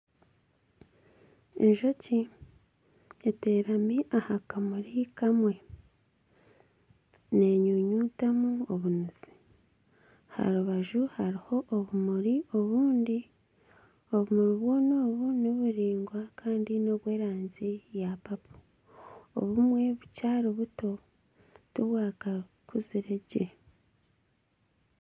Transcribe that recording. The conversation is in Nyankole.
Enjoki etekami aha kimuri kimwe ,n'enyunyutamu obunuzi, aha rubaju hariho obumuri obundi ,obumuri bwoona obu niburaingwa ,Kandi n'obwerangi ya papo ,obumwe bukiri buto tibwakakuzire gye